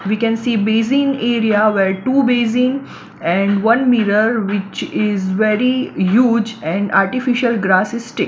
we can see basin area where two basin and one mirror which is very huge and artificial grass is sticked.